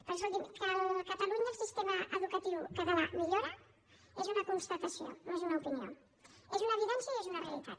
però escolti’m que a catalunya el sistema educatiu català millora és una constatació no és una opinió és una evidència i és una realitat